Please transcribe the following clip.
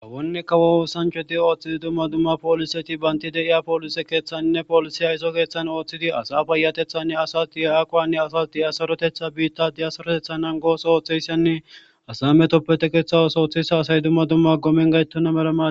Awonneka wooossancodi ooththidi dumma dumma pooliseti baynti deiya poolise keeththaninne poolisiya iso keeththan ooththidi asa bayatethanne asas diya aquwanne asas diyasorotetha biitta diyasarotetha nan goos ooththeyssenne asa metoppe tekeththawos ooththeyssa asay dumma dumma gomen gayttonna meraa.